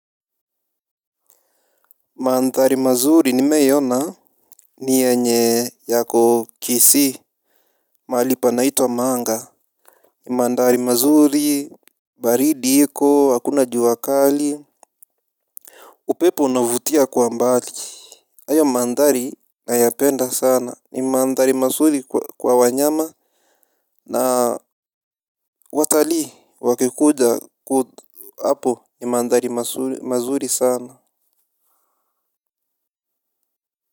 Madhari mazuri nimeona. Nienye yako kisi Malipa naito wa manga. Mandari mazuri. Baridi iko hakuna juakali. Upepo unavutia kwa mbali. Ayo mandari nayapenda sana ni mandari mazuri kwa wanyama. Na watali wakikuja hapo ni mandari mazuri sana.